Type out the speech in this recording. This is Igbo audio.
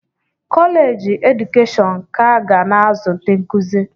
Kọleji edukeshọn ka ga na-azụ ndị nkụzi.